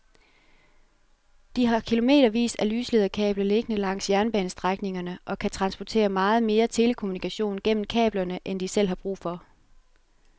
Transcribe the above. De har kilometervis af lyslederkabler liggende langs jernbanestrækningerne og kan transportere meget mere telekommunikation gennem kablerne end de selv har brug for.